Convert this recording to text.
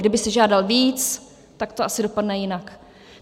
Kdyby si žádal víc, tak to asi dopadne jinak.